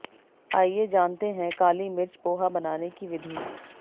आइये जानते हैं काली मिर्च पोहा बनाने की विधि